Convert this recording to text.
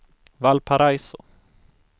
Valparaiso